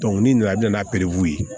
n'i nana n'a ye